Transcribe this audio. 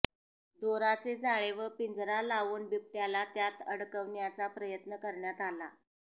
दोराचे जाळे व पिंजरा लावून बिबट्याला त्यात अडकवण्याचा प्रयत्न करण्यात आला